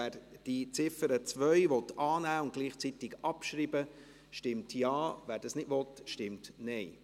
Wer die Ziffer 2 annehmen und gleichzeitig abschreiben will, stimmt Ja, wer dies nicht will, stimmt Nein.